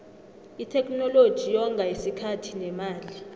itheknoloji yonga isikhathi nemali